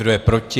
Kdo je proti?